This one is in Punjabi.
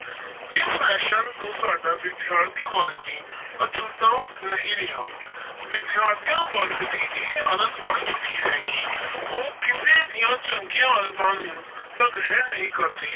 ਇਸ fashion ਤੋਂ ਸਾਡਾ ਵਿਦਿਆਰਥੀ ਵਰਗ ਵੀ ਅਛੂਤਾ ਨਹੀਂ ਰਿਹਾ ਵਿਦਿਆਰਥੀਆਂ ਵਰਗ ਦੀ ਇਹ ਆਦਤ ਬਣ ਚੁੱਕੀ ਹੈ ਕਿ ਉਹ ਕਿਸੇ ਦੀਆਂ ਚੰਗੀਆਂ ਆਦਤਾਂ ਨੂੰ ਤਾਂ ਗ੍ਰਹਿਣ ਨਹੀਂ ਕਰਦੇ,